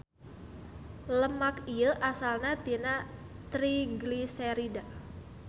Lemak ieu asalna tina trigliserida.